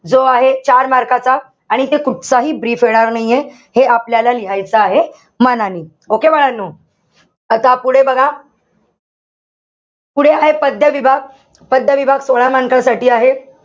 जो आहे चार mark चा. आणि इथे कुठचाही brief येणार नाहीये. हे आपल्याला लिहायचं आहे मनानी. Okay बाळांनो? आता पुढे बघा, पुढे आहे पद्य विभाग. पद्य विभाग सोळा mark साठी आहे.